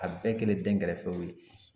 A bɛɛ kɛlen dɛnkɛrɛfɛw ye